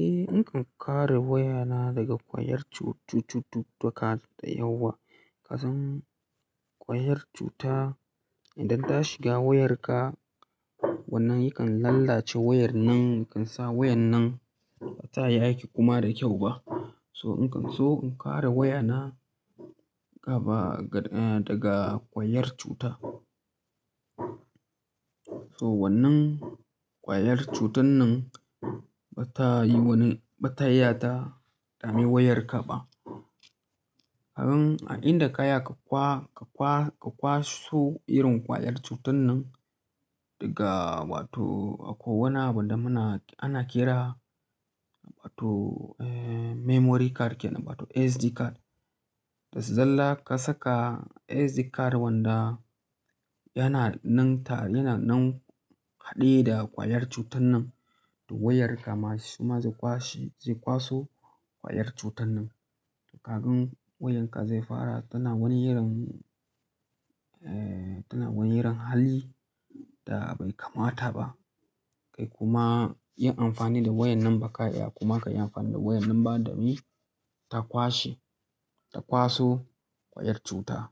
Eh, nakan kare wayana daga ƙwayar cututtuka da yawa. Kasan ƙwayar cuta idan ta shiga wayarka wannan yakan lallace wayar nan, yakan sa wayar nan bata iya aiki kuma da kyau ba. So in kare wayana gaba daga ƙwayar cuta. So wannan ƙwayar cutan nan bata yi wani, bata iya ta dame wayarka ba. Ka gan inda ka ya ka kwaso irin ƙwayar cutan nan daga wato akwai wani abu da muna, ana kira wato memory card ke nan, wato SD card. Da zalla ka saka SD card wanda yana nan tare, yana nan haɗe da ƙwayar cutan nan da wayarka ma su ma zai kwashe, zai kwaso ƙwayar cutan nan. Ka gan wayarka zai fara ta na wani irin, eh tana wani irin hali da bai kamata ba. Kai kuma yin amfani da wayar nan ba ka iya kuma ka yi amfani da wayar nan ba, domin ta kwashe, ta kwaso ƙwayar cuta.